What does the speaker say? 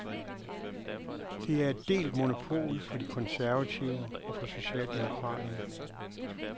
Det er et delt monopol for de konservative og for socialdemokraterne.